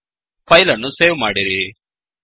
file ಅನ್ನು save ಮಾಡಿರಿ